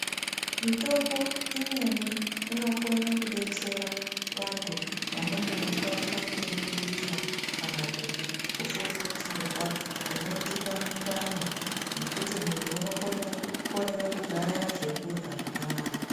Mitombo imweni inokone kudetsera vantu vanenge veibatwa ngedungurira kana kuti kufufutirwa kunoitika mundani mwekuti muntu unokone kukorere kugaya zvekurya zvakanaka.